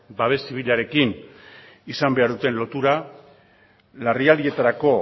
babes zibilarekin izan behar duten lotura larrialdietarako